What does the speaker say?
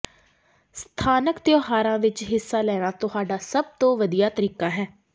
ਸਥਾਨਕ ਤਿਉਹਾਰਾਂ ਵਿਚ ਹਿੱਸਾ ਲੈਣਾ ਤੁਹਾਡਾ ਸਭ ਤੋਂ ਵਧੀਆ ਤਰੀਕਾ ਹੈ